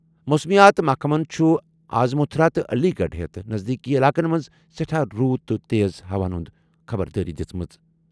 موسمیات محکمَن چھُ آز متھرا تہٕ علی گڑھ ہٮ۪تھ نزدیٖکی علاقَن منٛز سٮ۪ٹھا روٗد تہٕ تیز ہوہَن ہُنٛد خبردار کوٚرمُت۔